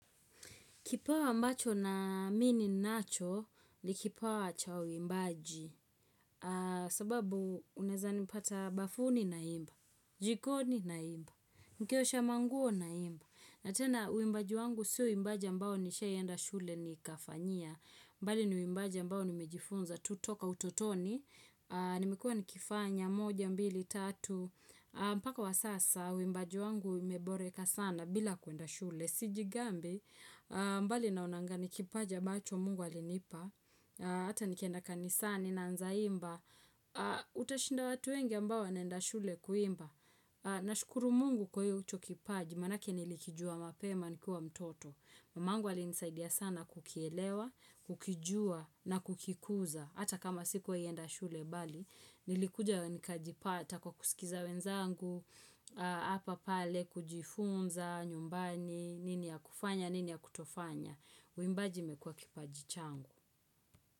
Kipawa mbacho na mini nacho ni kipawa cha uimbaji sababu uneza nipata bafuni na imba, jikoni na imba, mkiosha manguo na imba. Natena uimbaji wangu siu imbaji ambao nisha yenda shule ni kafanyia, mbali ni uimbaji ambao nimejifunza tutoka ututoni, nimekua nikifanya moja, mbili, tatu. Mpaka wa sasa, wimbaji wangu ime boreka sana bila kuenda shule Sijigambi, mbali naonanga ni kipaja ambacho mungu alinipa Ata nikenda kanisani na nzaimba Utashinda watu wenye ambao naenda shule kuimba na shukuru mungu kwa hiyo ucho kipaji Manake nilikijua mapema nikuwa mtoto Mamangu alinisaidia sana kukielewa, kukijua na kukikuza Ata kama siku wai enda shule bali Nilikuja wenikajipata kwa kusikiza wenzangu Hapa pale kujifunza, nyumbani, nini ya kufanya, nini ya kutofanya Wimbaji mekua kipajichangu.